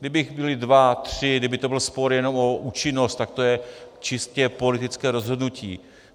Kdyby byli dva, tři, kdyby to byl spor jenom o účinnost, tak to je čistě politické rozhodnutí.